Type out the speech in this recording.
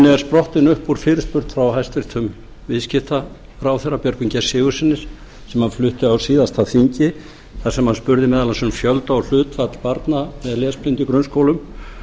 er sprottin upp úr fyrirspurn frá hæstvirtur viðskiptaráðherra björgvini g sigurðssyni sem hann flutti á síðasta þingi þar sem hann spurði meðal annars um fjölda og hlutfall barna með lesblindu í grunnskólum